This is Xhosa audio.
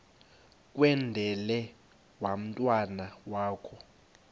kwendele umntwana wakho